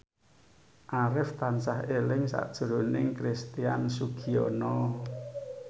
Arif tansah eling sakjroning Christian Sugiono